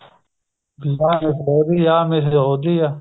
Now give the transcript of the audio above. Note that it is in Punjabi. ਆਹ ਮਿਸਲ ਉਹਦੀ ਆ ਆਹ ਮਿਸਲ ਉਹਦੀ ਆ